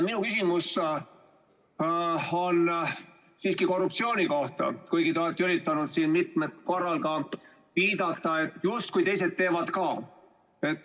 Minu küsimus on siiski korruptsiooni kohta, kuigi te olete üritanud siin mitmel korral viidata, justkui teised teevad ka.